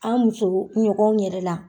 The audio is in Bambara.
An muso ɲɔgɔnw yɛrɛ la